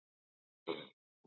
Jón Ármann